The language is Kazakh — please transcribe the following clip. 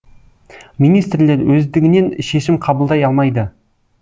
министрлер өздігінен шешім қабылдай алмайды